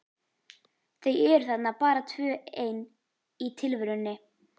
Þau eru þarna bara tvö ein í tilverunni.